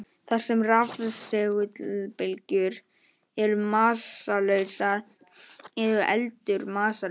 Þar sem rafsegulbylgjur eru massalausar er eldur massalaus.